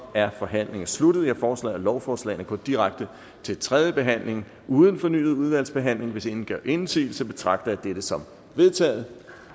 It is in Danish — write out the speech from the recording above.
er forhandlingen sluttet jeg foreslår at lovforslagene går direkte til tredje behandling uden fornyet udvalgsbehandling hvis ingen gør indsigelse betragter jeg dette som vedtaget